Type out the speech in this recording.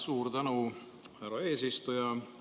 Suur tänu, härra eesistuja!